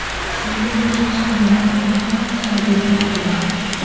Shunga o‘xshash holat avval ham sodir bo‘lgandi.